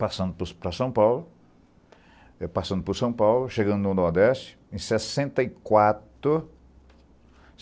Passando por para São Paulo, chegando no Nordeste, em sessenta e quatro